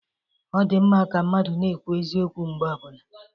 Ọdịmma ka mmadụ na-ekwu eziokwu mgbe ọbụla.